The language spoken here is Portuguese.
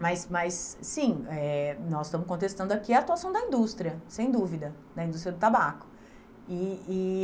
Mas mas, sim, eh nós estamos contestando aqui a atuação da indústria, sem dúvida, da indústria do tabaco. E e